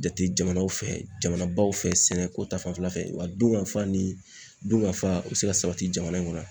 Jate jamanaw fɛ jamanabaw fɛ sɛnɛko ta fanfɛla fɛ wa dunkafa ni dunkafa u bɛ se ka sabati jamana in kɔnɔ.